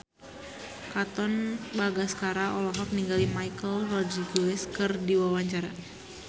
Katon Bagaskara olohok ningali Michelle Rodriguez keur diwawancara